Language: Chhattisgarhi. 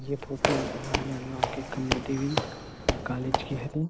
यह फोटो राजनांदगाँव के कमला देवी कालेज के हरे --